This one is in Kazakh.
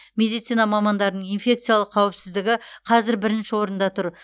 медицина мамандарының инфекциялық қауіпсіздігі қазір бірінші орында тұр